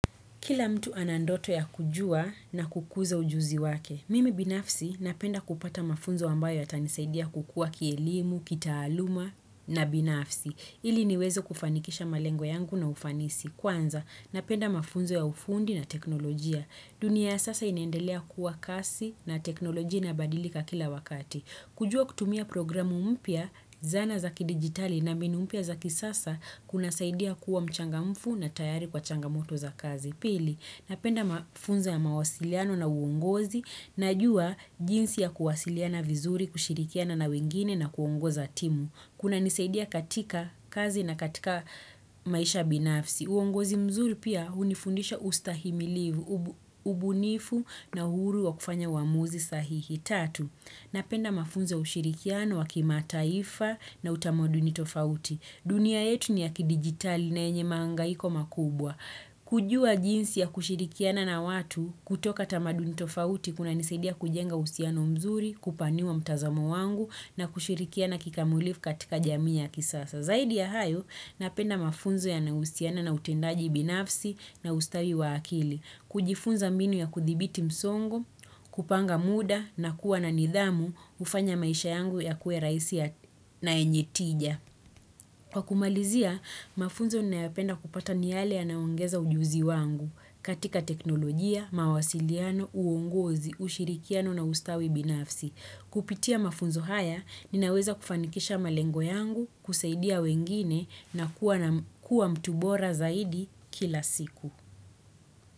Kila mtu anandoto ya kujua na kukuza ujuzi wake. Mimi binafsi napenda kupata mafunzo wambayo atanisaidia kukua kielimu, kitaaluma na binafsi. Ili niwezo kufanikisha malengo yangu na ufanisi. Kwanza, napenda mafunzo ya ufundi na teknolojia. Dunia sasa inendelea kuwa kasi na teknolojia na badilika kila wakati. Kujua kutumia programu umpia zana zaki digitali na minumpia zaki sasa kuna saidia kuwa mchanga mfu na tayari kwa changamoto za kazi. Pili, napenda mafunza ya mawasiliano na uongozi. Najua jinsi ya kuwasiliana vizuri, kushirikiana na wengine na kuongoza timu. Kuna nisaidia katika kazi na katika maisha binafsi. Uongozi mzuri pia unifundisha ustahimilivu, ubunifu na huru wa kufanya wamuzi sahihi. Tatu. Napenda mafunzo ushirikiano wa kima taifa na utamoduni tofauti. Dunia yetu ni ya kidigitali na enye mangaiko makubwa. Kujua jinsi ya kushirikiana na watu kutoka tamaduni tofauti kuna nisaidia kujenga usiano mzuri, kupaniwa mtazamo wangu na kushirikiana kikamulifu katika jami ya kisasa. Zaidi ya hayo, napenda mafunzo ya nahusiana na utendaji binafsi na ustawi wa akili. Kujifunza minu ya kuthibiti msongo, kupanga muda na kuwa na nidhamu, ufanya maisha yangu ya kue rahisia na enyetija. Kwa kumalizia, mafunzo naapenda kupata niyale ya naongeza ujuzi wangu katika teknolojia, mawasiliano, uongozi, ushirikiano na ustawi binafsi. Kupitia mafunzo haya, ninaweza kufanikisha malengo yangu, kusaidia wengine na kuwa mtubora zaidi kila siku.